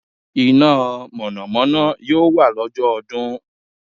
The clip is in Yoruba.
Iná Mọ̀nà Mọ̀nà yóò wà lọ́jọ́ ọdún